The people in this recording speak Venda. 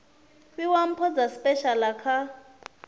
fhiwa mpho dza tshipeshala kha